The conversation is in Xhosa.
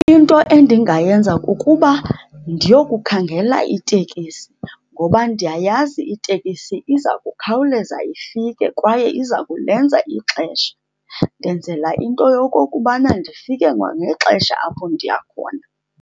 Into endingayenza kukuba ndiyokukhangela itekisi ngoba ndiyayazi itekisi iza kukhawuleza ifike kwaye iza kulenza ixesha. Ndenzela into yokokubana ndifike kwangexesha apho ndiya khona.